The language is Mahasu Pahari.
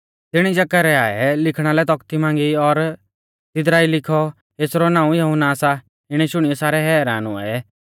तिणी जकरयाह ऐ लिखणा लै तौखती मांगी और तिदरा ई लिखौ कि एसरौ नाऊं यहुन्ना सा इणै शुणियौ सारै हैरान हुऐ